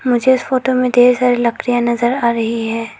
मुझे इस फोटो में ढेर सारी लड़कियां नजर आ रही है।